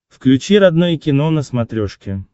включи родное кино на смотрешке